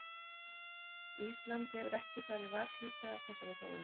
Ísland hefur ekki farið varhluta af þessari þróun?